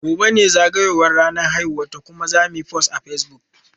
Gobe ​​ne zagayowar ranar haihuwarta kuma zamuyi post a Facebook.